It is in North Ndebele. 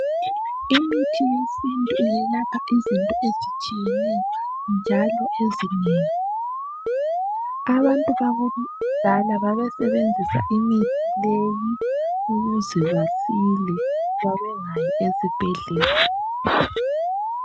Imithi yesintu iyelapha izinto ezinengi ezitshiyeneyo. Abantu bakudala babesenzisa imithi leyi ukuze basile. Babengayi ezibhedlela.